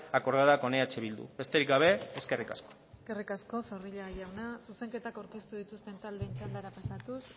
acordada con eh bildu besterik gabe eskerrik asko eskerrik asko zorrilla jauna zuzenketak aurkeztu dituzten taldeen txandara pasatuz